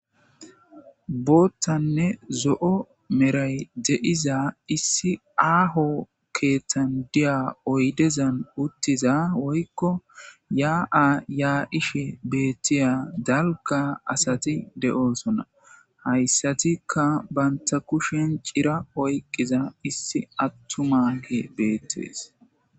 Boottanne zo'o meray de'iza issi aaho keeththandiya oydezan uttiza woykko yaa'a yaa ishe beettiya dalka asati de'oosonna hayssatikka banta kushen cira oyqiza issi attumake beettees.